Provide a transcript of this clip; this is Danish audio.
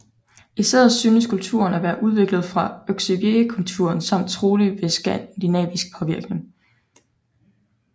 I stedet synes kulturen at være udviklet fra Oksywiekulturen samt trolig ved skandinavisk påvirkning